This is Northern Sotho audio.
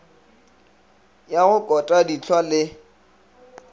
ya go kota dihlwa le